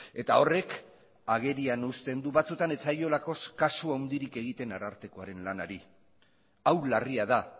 eta horrek agerian usten du batzutan ez zaiolako kasu handirik egiten arartekoaren lanari hau larria da